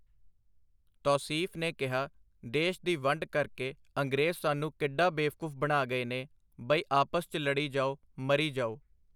ਤੌਸੀਫ਼ ਨੇ ਕਿਹਾ, ਦੇਸ਼ ਦੀ ਵੰਡ ਕਰਕੇ ਅੰਗਰੇਜ਼ ਸਾਨੂੰ ਕਿੱਡਾ ਬੇਵਕੂਫ਼ ਬਣਾ ਗਏ ਨੇ ਬਈ ਆਪਸ 'ਚ ਲੜੀ ਜਾਓ, ਮਰੀ ਜਾਓ.